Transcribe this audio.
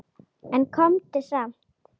En komdu samt!